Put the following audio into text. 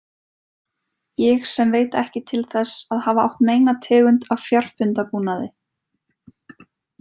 Ég sem veit ekki til þess að hafa átt neina tegund af fjarfundabúnaði.